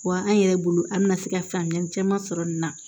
Wa an yɛrɛ bolo an bɛna se ka faamuyali caman sɔrɔ nin na